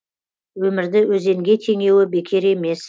өмірді өзенге теңеуі бекер емес